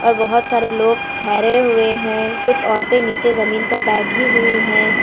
और बहोत सारे लोग ठहरे हुए हैं कुछ औरतें नीचे जमीन पर बैठी हुई है।